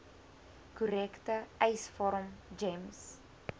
korrekte eisvorm gems